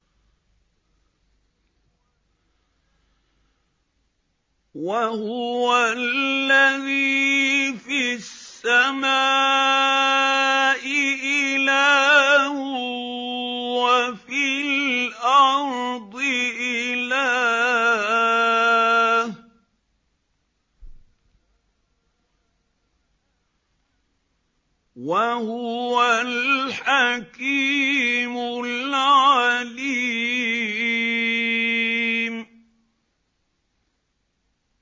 وَهُوَ الَّذِي فِي السَّمَاءِ إِلَٰهٌ وَفِي الْأَرْضِ إِلَٰهٌ ۚ وَهُوَ الْحَكِيمُ الْعَلِيمُ